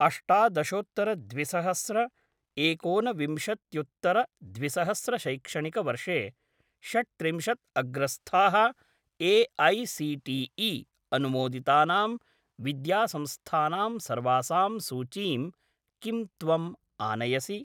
अष्टादशोत्तर द्विसहस्र एकोन विंशत्युत्तर द्विसहस्र शैक्षणिकवर्षे षट्त्रिंशत् अग्रस्थाः ए.ऐ.सी.टी.ई. अनुमोदितानां विद्यासंस्थानां सर्वासां सूचीं किं त्वम् आनयसि?